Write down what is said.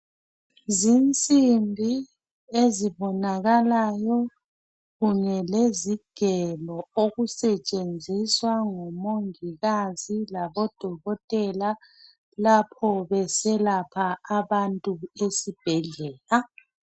Lezi zinsimbi ezibonakalayo kanye lezigelo okusetshenziswa ngumongikazi labodokotela lapho beselapha abantu esibhedlela.